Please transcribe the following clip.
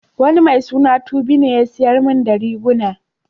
Wani mai suna Tobi ne ya siyar min da riguna.